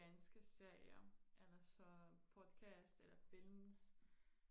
danske serier eller så podcast eller film